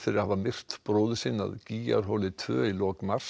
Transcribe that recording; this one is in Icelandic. fyrir að hafa myrt bróður sinn að tvö í lok mars